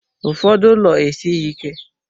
Ụfọdụ ụlọ esighị ike.